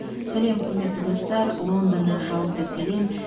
сәлем құрметті достар лондоннан жалынды сәлем